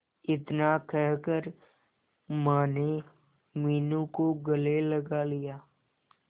इतना कहकर माने मीनू को गले लगा लिया